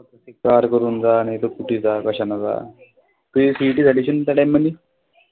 Car करून जा नाहीतर कुठेही जा कशानेही जा तुझी CET झाली अशीन ना त्या time मधी?